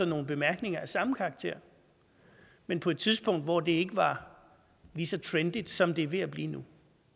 nogle bemærkninger af samme karakter men på et tidspunkt hvor det ikke var lige så trendy som det er ved at blive nu